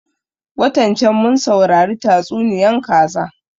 Watan can mun saurari tatsuniyan kaza